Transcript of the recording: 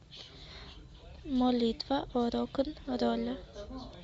молитва о рок н ролле